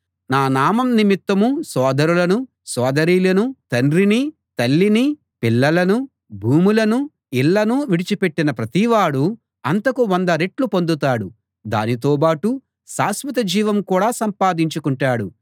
నా నామం నిమిత్తం సోదరులను సోదరీలను తండ్రినీ తల్లినీ పిల్లలనూ భూములనూ ఇళ్ళనూ విడిచిపెట్టిన ప్రతివాడూ అంతకు వంద రెట్లు పొందుతాడు దానితోబాటు శాశ్వత జీవం కూడా సంపాదించుకుంటాడు